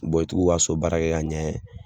i ti k'u ka so baara kɛ ka ɲɛ